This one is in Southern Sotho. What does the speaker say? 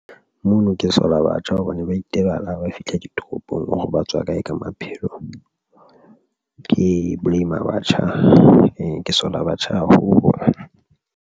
Mona ke sola batjha hobane ba itebala ha ba fitlha toropong hore ba tswa kae ka maphelo ke blame-a batjha e ke sola batjha haholo.